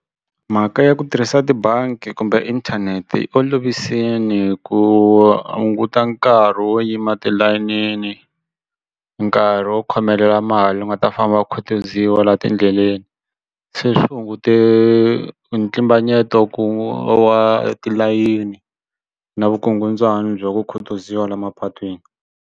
Mhaka ya ku tirhisa tibangi kumbe inthanete yi olovisini ku hunguta nkarhi wo yima tilayinini nkarhi wo khomelela mali u nga ta famba khutuziwa la tindleleni se swi hungute ntlimbanyeto wa tilayeni na vukungundzwani bya ku khutuziwa la mapatwini.